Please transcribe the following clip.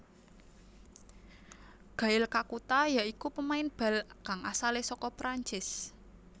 Gael Kakuta ya iku pemain bal kang asalé saka Prancis